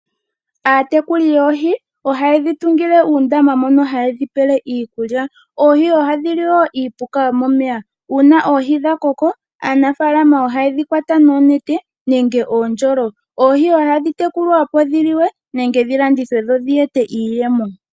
Aatekuli yoohi ohayedhi tungile uundama mono hayedhi pele iikulya, oohi ohadhi li niipuka yomomeya. Uuna oohi dhakoko aanafalama ohayedhi kwata noonete nenge oondjolo. Oohi ohadhi tekulwa opo dhi liwe nenge dhi landithwe dho dhi ete iiyemo.